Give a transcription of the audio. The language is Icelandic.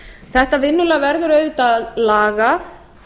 þetta vinnulag verður auðvitað að laga